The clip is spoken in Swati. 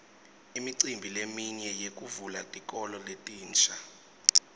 imicimbi leminye yekuvula tikolo letinsha